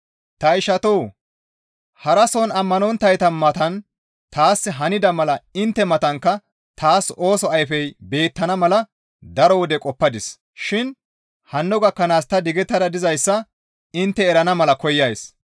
Ta ishatoo! Harason ammanonttayta matan taas hanida mala intte matankka taas ooso ayfey beettana mala daro wode qoppadis shin hanno gakkanaas ta digettada dizayssa intte erana mala koyays.